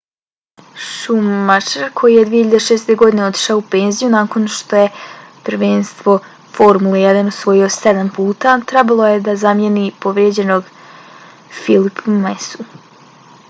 schumacher koji je 2006. godine otišao u penziju nakon što je prvenstvo formule 1 osvojio sedam puta trebalo je da zamijeni povrijeđenog felipea massu